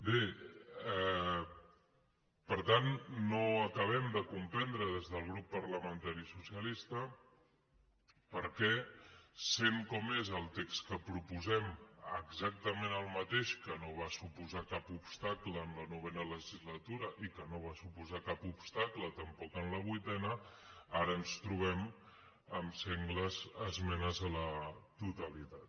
bé per tant no acabem de comprendre des del grup parlamentari socialista per què sent com és el text que proposem exactament el mateix que no va suposar cap obstacle en la novena legislatura i que no va suposar cap obstacle tampoc en la vuitena ara ens trobem amb sengles esmenes a la totalitat